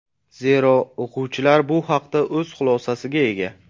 Zero, o‘quvchilar bu haqda o‘z xulosasiga ega.